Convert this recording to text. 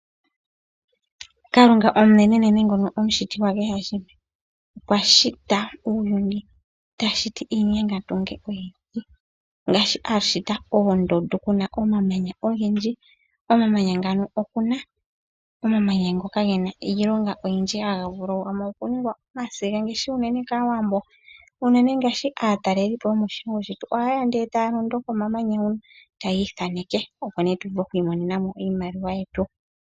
Kalunga omanenenene ngono omushiti gwa kehe shimwe okwa shita uuyuni, ta shiti iinyengandunge oyindji ngaashi a shita oondundu kuna omamanya ogendji, komamanya ngano oku na omamanya ngoka gena iilonga oyindji, haga vulu ano okuningwa omasiga ngaashi unene kaawambo. Unene ngaashi aataleli po yomoshilongo shetu ohaye ya ndele e taya londo komamanya huno tayi ithaneke opo nee tu vule oku imonena mo iimaliwa yetu.